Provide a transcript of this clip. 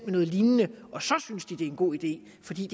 noget lignende og så synes de det er en god idé fordi